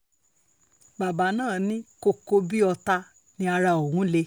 bàbá náà ní kókó bíi ọ̀tá ni ara òun le